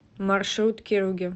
маршрут керуги